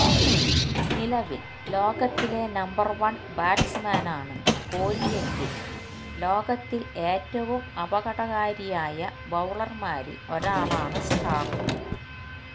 നിലവില് ലോകത്തിലെ number one ബാറ്റ്സ്മാനാണ് കോലിയെങ്കില് ലോകത്തില് ഏറ്റവും അപകടകാരിയായ ബൌളര്മാരില് ഒരാളാണ് സ്റ്റാര്ക്ക്